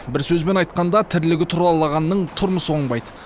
бір сөзбен айтқанда тірлігі тұралағанның тұрмысы оңбайды